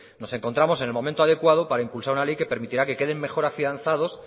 nos encontramos en el momento adecuado para impulsar una ley que permitirá que queden mejor afianzados